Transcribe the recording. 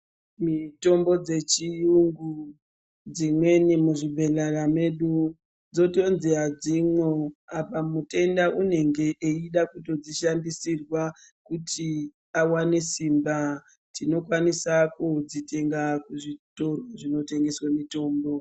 Mitombo dzechiyungu dzimweni muzvibhedhlera mwedu dzotonzi hadzimo apa mutenda unenge eyida kutodzishandisirwa kuti awane simba. Tinokwanisa kudzitenga muzvitoro zvinotengeswe mutombo.